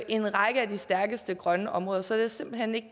en række af de stærkeste grønne områder så jeg er simpelt hen ikke